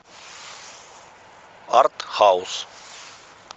артхаус